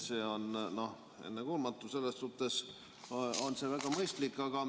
See on ennekuulmatu, selles suhtes on see väga mõistlik.